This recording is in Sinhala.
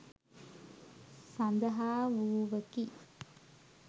සඳහා වූවකි.